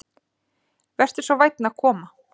Vertu svo vænn að koma.